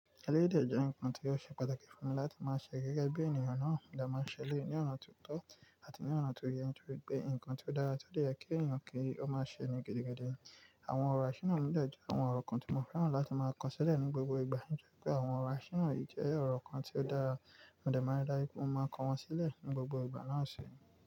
Eléyìí dẹ̀ jẹ́ ǹkan tí ó ṣe pàtàkì fún mi láti máa ṣe gẹ́gẹ́ bí ènìyàn náà ti máa ń ṣe léyìí ní ọ̀nà tó tọ́ àti ní ọ̀nà tó yẹ, torí pé ǹkan tí ó dára tó dẹ̀ yẹ kí ènìyàn kí ó máa ṣe ní gidi gẹ́gẹ́. Àwọn ọ̀rọ̀ àṣínà mi dẹ̀ jẹ́ àwọn ọ̀rọ̀ kan tí mo fẹ́ràn láti máa kọ sílẹ̀ ní gbogbo ìgbà, torí pé àwọn ọ̀rọ̀ àṣínà yìí jẹ́ ọ̀rọ̀ kan tí ó dára, mo dẹ̀ máa rí láìpẹ́ mo máa kọ wọ́n sílẹ̀ ní gbogbo ìgbà náà ṣe.